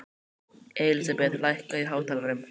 Elísabeth, lækkaðu í hátalaranum.